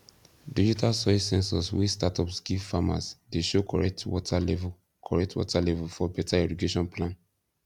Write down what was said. digital soil sensors wey startups give farmers dey show correct water level correct water level for better irrigation plan